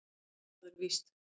Já, það er víst